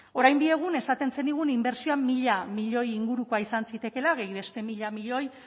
orain bi egun esaten zenigun inbertsioa mila milioi ingurukoa izan zitekeela gehi beste mila miloi